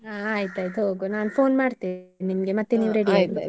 ಹಾ ಆಯ್ತಾಯ್ತು ಹೋಗ್ವ ನಾನ್ phone ಮಾಡ್ತೆ ನಿಮ್ಗೆ ಮತ್ತೆ ನೀವು ready ಆಗಿ.